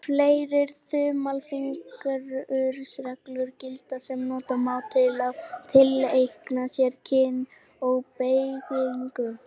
Fleiri þumalfingursreglur gilda sem nota má til að tileinka sér kyn og beygingu.